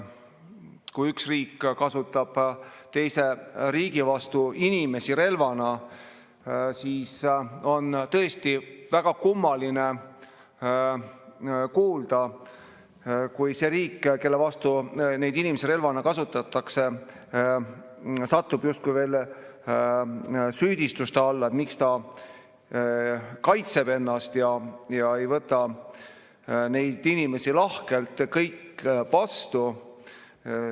Kui üks riik kasutab teise riigi vastu inimesi relvana, siis on tõesti väga kummaline kuulda, kui see riik, kelle vastu neid inimesi relvana kasutatakse, satub justkui süüdistuste alla, et miks ta kaitseb ennast ja ei võta kõiki neid inimesi lahkelt vastu.